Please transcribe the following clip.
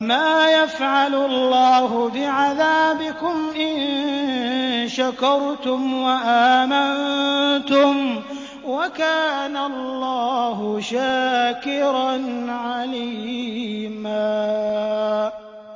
مَّا يَفْعَلُ اللَّهُ بِعَذَابِكُمْ إِن شَكَرْتُمْ وَآمَنتُمْ ۚ وَكَانَ اللَّهُ شَاكِرًا عَلِيمًا